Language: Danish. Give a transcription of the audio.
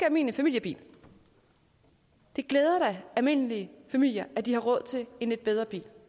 almindelig familiebil det glæder da almindelige familier at de har råd til en lidt bedre bil